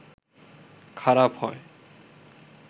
খারাপ হয়